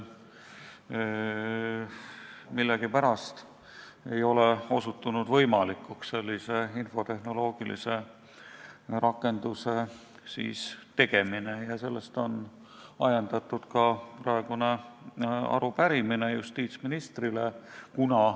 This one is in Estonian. Millegipärast ei ole sellise infotehnoloogilise rakenduse tegemine võimalikuks osutunud ja sellest on ajendatud ka praegune arupärimine justiitsministrile.